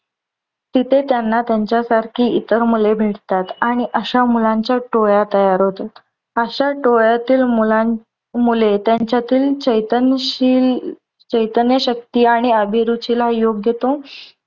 तिथे त्यांना त्यांच्यासारखी इतर मुले भेटतात आणि अश्या मुलांच्या टोळ्या तयार होतात. अश्या टोळ्यातील मुलान मुले त्यांच्यातील चैतन्यशील चैतन्यशक्ती अभिरुचीला योग्य तो